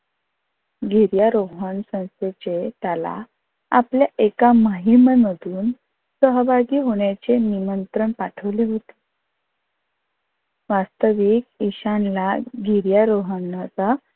गिर्यारोहण संस्थेचे त्याला आपल्या एका मोहिमेमधून सहभागी होण्याचे निमंत्रण पाठवले होते. वास्थविक ईशानला गिर्यारोहणचा